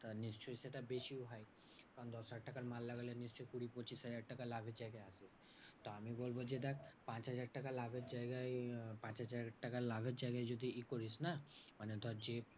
তা নিশ্চই সেটা বেশিও হয় কারণ দশহাজার টাকার মাল লাগালে নিশ্চই কুড়ি পঁচিশ হাজার টাকা লাভের জায়গায় আসতো। তো আমি বলবো যে দেখ পাঁচহাজার টাকা লাভের জায়গায় পাঁচ হাজার টাকা লাভের জায়গায় যদি ই করিস না? মানে ধর যে